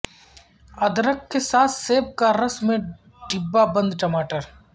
ادرک کے ساتھ سیب کا رس میں ڈبہ بند ٹماٹر